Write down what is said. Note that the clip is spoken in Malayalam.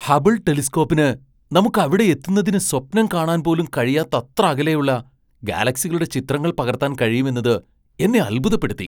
ഹബിൾ ടെലിസ്കോപ്പിന് നമുക്ക് അവിടെയെത്തുന്നത് സ്വപ്നം കാണാൻ പോലും കഴിയാത്തത്ര അകലെയുള്ള ഗാലക്സികളുടെ ചിത്രങ്ങൾ പകർത്താൻ കഴിയുമെന്നത് എന്നെ അത്ഭുതപ്പെടുത്തി!